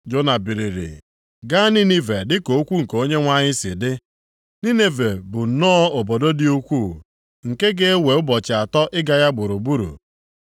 Jona biliri gaa Ninive dịka okwu nke Onyenwe anyị si dị. Ninive bụ nnọọ obodo dị ukwuu, nke ga-ewe ụbọchị atọ ịga ya gburugburu.